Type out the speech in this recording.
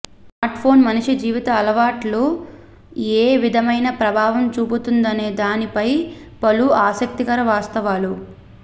smartphone మనిషి జీవిత అలవాట్ల ఏ విధమైన ప్రభావం చూపుతందనే దాని పై పలు ఆసక్తికర వాస్తవాలు